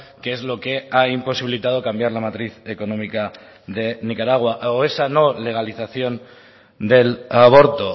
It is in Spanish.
que es lo que ha imposibilitado cambiar la matriz económica de nicaragua o esa no legalización del aborto